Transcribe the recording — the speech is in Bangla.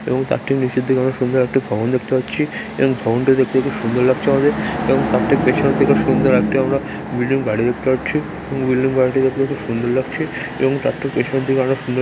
এবং তার ঠিক নিচের দিকে আমরা সুন্দর একটা দেখতে পাচ্ছি | এবং টি দেখতে খুব সুন্দর লাগছে আমাদের | এবং ঠিক পেছনের দিকেও সুন্দর একটি আমরা বিল্ডিং বাড়ি দেখতে পাচ্ছি | এবং বিল্ডিং বাড়িটি দেখতে খুব সুন্দর লাগছে | এবং তার ঠিক পেছনের দিকে আমরা সুন্দর--